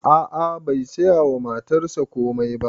A'a bai saya wa matarsa komai ba